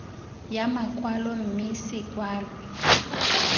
ya makwalo mme se kwalwe